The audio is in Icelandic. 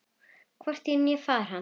Hvorki ég né faðir hans.